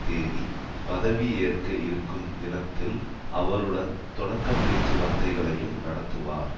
தேதி பதவி ஏற்க இருக்கும் தினத்தில் அவருடன் தொடக்க பேச்சுவார்த்தைகளையும் நடத்துவார்